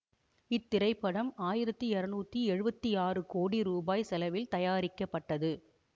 இத்திரைப்படம் ஆயிரத்தி இருநூற்றி எழுவத்தி ஆறு கோடி ரூபாய் செலவில் தயாரிக்கப்பட்டது